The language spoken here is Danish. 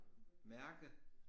Mærke